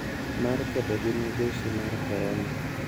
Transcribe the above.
Mar kedo gi midhusi mar korona